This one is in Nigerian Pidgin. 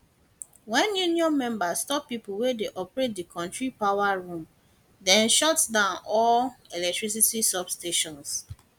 wen union members stop pipo wey dey operate di kontri power room dem shutdown all electricity substations